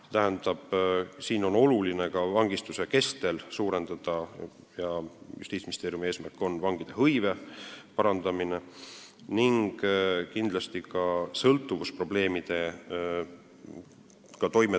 See tähendab, et on oluline parandada vangide hõivet vangistuse kestel – see on Justiitsministeeriumi eesmärk – ning kindlasti on oluline, et pärast vabanemist tuleks isik toime sõltuvusprobleemidega.